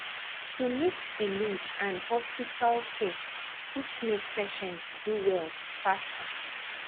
to mix belief and hospital care fit make patient do well faster